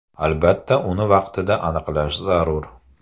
Albatta, uni vaqtida aniqlash zarur.